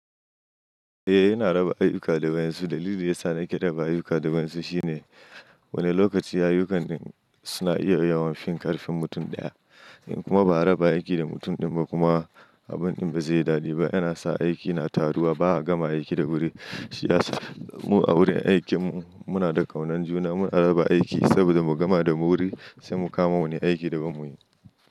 Eh, yana raba ayuka da wainsu. Dalilin da ya sa nake ayuka da kansu shine wani lokaci ayukan suna iya yawan fin ƙarfin mutum ɗaya. Kuma ba a raba aiki da mutum ɗin ba kuma, abun ɗin ba zai daɗe ba, yana sa aiki na taruwa ba a gama aiki da wuri. Shi ya sa mu a wurin aikin mu muna da ƙaunar juna, muna raba aiki saboda mu gama da mu wuri sai mu kama wani aiki da ba mu yi.